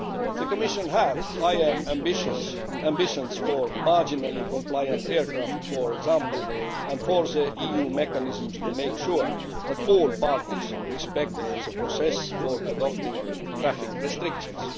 The Commission had higher ambitions for marginally compliant aircraft, for example, and for the EU mechanisms to ensure that all parties respect the process for adopting traffic restrictions.